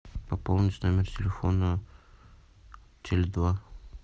пополнить номер телефона теле два